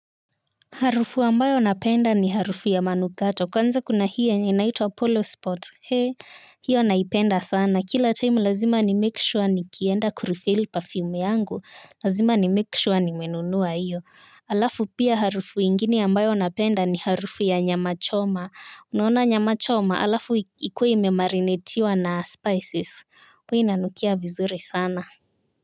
Harufu ambayo ninapenda ni harufu ya manukato kwanza kuna hii inayoitwa polo spot hiyo naipenda sana kila time lazima nimake sure nikienda kurefil perfume yangu lazima nimake sure nimenunua hiyo halafu pia harufu ingine ambayo ninapenda ni harufu ya nyama choma unaona nyama choma halafu ikue imemarinetiwa na spices huwa inanukia vizuri sana.